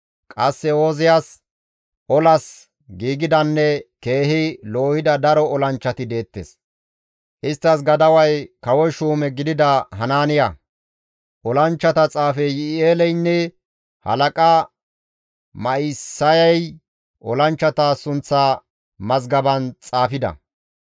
Qasse Ooziyas olas giigidanne keehi loohida daro olanchchati deettes; isttas gadaway kawo shuume gidida Hanaaniya; olanchchata xaafey Yi7i7eeleynne halaqa Ma7isayay olanchchata sunththa mazgaban xaafida.